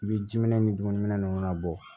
I bɛ jiminɛn ni dumuni ninnu kana bɔ